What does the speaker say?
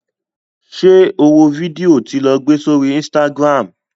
Ṣé o wo fídíò tí lo gbé sórí Instagram?